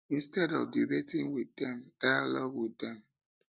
instead of debating with dem dialogue with them